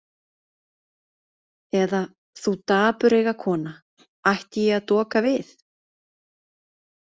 Eða, þú dapureyga kona, ætti ég að doka við?